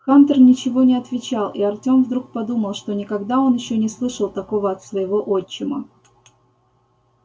хантер ничего не отвечал и артём вдруг подумал что никогда он ещё не слышал такого от своего отчима